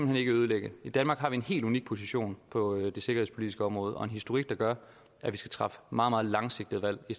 hen ikke ødelægge i danmark har vi en helt unik position på det sikkerhedspolitiske område og en historik der gør at vi skal træffe meget meget langsigtede valg i